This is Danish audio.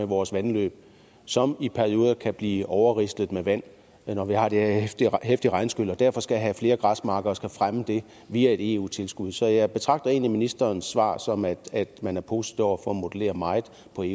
vores vandløb som i perioder kan blive overrislet med vand når vi har de her heftige regnskyl og at vi derfor skal have flere græsarealer og skal fremme det via et eu tilskud så jeg tolker egentlig ministerens svar som at man er positiv over for at modellere meget